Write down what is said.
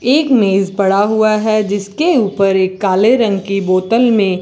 एक मेज पड़ा हुआ है जिसके ऊपर एक काले रंग की बोतल में--